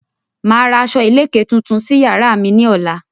Màá ra aṣọ ìléke tuntun sí yàrá mi ní ọ̀la.